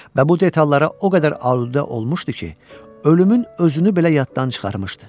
Və bu detallara o qədər alüdə olmuşdu ki, ölümün özünü belə yaddan çıxarmışdı.